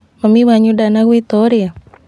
Mami wanyu ndanagwĩta ũrĩe?